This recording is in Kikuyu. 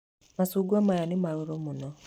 Macungwa maya nĩ marũrũ muno.